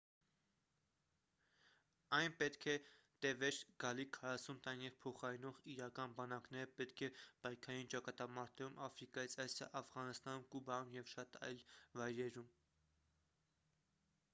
այն պետք է տևեր գալիք 40 տարին և փոխարինող իրական բանակները պետք է պայքարեին ճակատամարտերում աֆրիկայից ասիա աֆղանստանում կուբայում և շատ այլ վայրերում